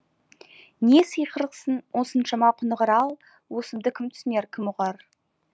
не сыйқырсың осыншама құнығар ал осымды кім түсінер кім ұғар